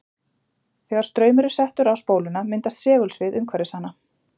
Þegar straumur er settur á spóluna myndast segulsvið umhverfis hana.